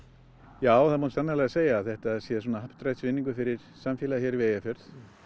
já það má sannarlega segja að þetta sé happdrættisvinningur fyrir samfélagið hér við Eyjafjörð